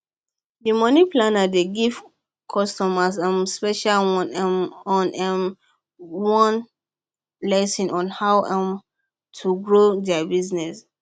dey money planner dey give customers um special one um on um on one lesson on how um yo grow their business